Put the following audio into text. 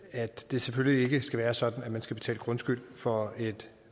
at det selvfølgelig ikke skal være sådan at man skal betale grundskyld for et